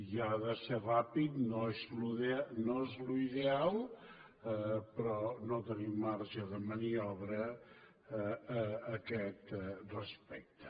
i ha de ser ràpid no és l’ideal però no tenim marge de maniobra a aquest respecte